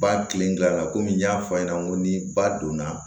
Ba kilenna a la komi n y'a fɔ a ɲɛna n ko ni ba donna